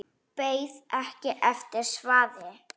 En beið ekki eftir svari.